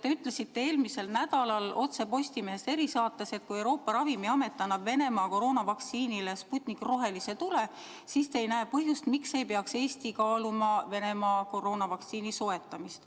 Te ütlesite eelmisel nädalal saates "Otse Postimehest", et kui Euroopa Ravimiamet annab Venemaa koroonavaktsiinile Sputnik rohelise tule, siis te ei näe põhjust, miks ei peaks Eesti kaaluma Venemaa koroonavaktsiini soetamist.